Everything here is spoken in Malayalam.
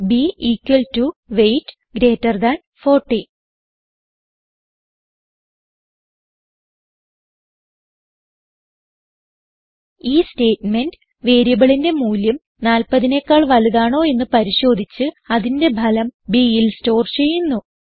b equal to weight greater than 40 ഈ സ്റ്റേറ്റ്മെന്റ് വേരിയബിളിന്റെ മൂല്യം 40നെക്കാൾ വലുതാണോ എന്ന് പരിശോധിച്ച് അതിന്റെ ഫലം bൽ സ്റ്റോർ ചെയ്യുന്നു